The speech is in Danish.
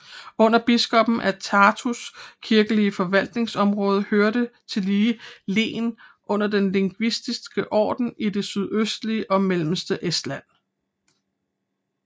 Under biskoppen af Tartus kirkelige forvaltningsområde hørte tillige len under Den Liviske Orden i det sydøstlige og mellemste Estland